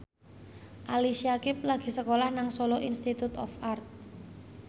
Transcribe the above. Ali Syakieb lagi sekolah nang Solo Institute of Art